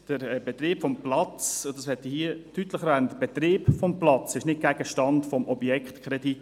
Der Betrieb des Platzes – und das möchte ich hier deutlich sagen – ist nicht Gegenstand des jetzigen Objektkredits.